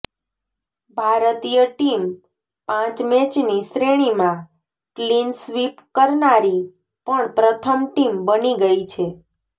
ભારતીય ટીમ પાંચ મેચની શ્રેણીમાં ક્લીન સ્વીપ કરનારી પણ પ્રથમ ટીમ બની ગઈ છે